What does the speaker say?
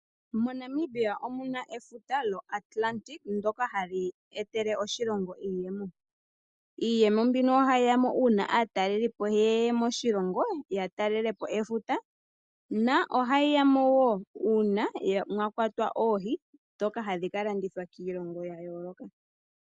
MoNamibia omuna efuta lyoAtlantic ndyoka hali etele oshilongo iiyemo. Iiyemo mbino ohayi yamo uuna aatalelipo yeya moshilongo ya talelepo efuta, na ohayi yamo wo uuna mwakwatwa oohi dhoka hadhi kalandithwa kiilongo yayooloka.